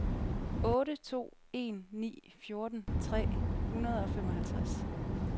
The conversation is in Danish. otte to en ni fjorten tre hundrede og femoghalvtreds